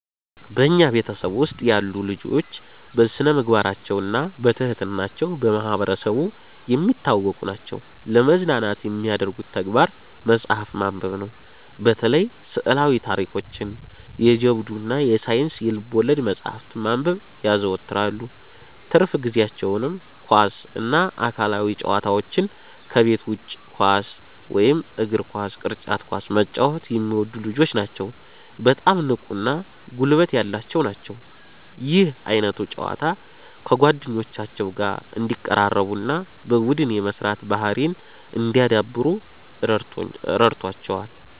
በኛ ቤተሰብ ውስጥ ያሉ ልጆች በስነምግባራቸውና በትህትና ቸው በማህበረሰቡ የሚታወቁ ናቸዉ። ለመዝናናት የሚያደርጉት ተግባር መጽሐፍ ማንበብነው። በተለይ ስዕላዊ ታሪኮችን፣ የጀብዱ እና የሳይንስ ልብወለድ መጽሐፍትን ማንበብ ያዘወትራሉ። ትርፍ ጊዜአቸውንም ኳስ እና አካላዊ ጨዋታዎች ከቤት ውጭ ኳስ (እግር ኳስ፣ ቅርጫት ኳስ) መጫወት የሚወዱ ልጆች ናቸዉ በጣም ንቁ እና ጉልበት ያላቸው ናቸው። ይህ ዓይነቱ ጨዋታ ከጓደኞቻቸው ጋር እንዲቀራረቡና በቡድን የመስራት ባህርይን እንዲያዳብሩ ረድቶቸዋል።